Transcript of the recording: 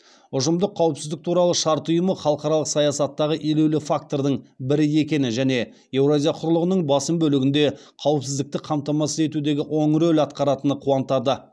ұжымдық қауіпсіздік туралы шарт ұйымы халықаралық саясаттағы елеулі фактордың бірі екені және еуразия құрлығының басым бөлігінде қауіпсіздікті қамтамасыз етуде оң рөл атқаратыны қуантады